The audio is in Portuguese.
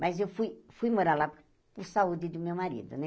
Mas eu fui fui morar lá por saúde do meu marido, né?